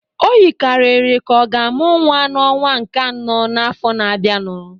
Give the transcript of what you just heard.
O yikarịrị ka ọ ga-amụ nwa n'ọnwa nke anọ n'afọ na-abịanụ